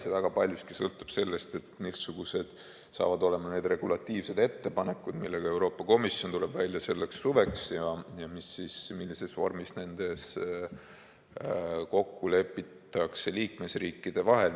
See väga paljuski sõltub sellest, missugused saavad olema need regulatiivsed ettepanekud, millega Euroopa Komisjon tuleb välja selleks suveks, ja millises vormis nendes kokku lepitakse liikmesriikide vahel.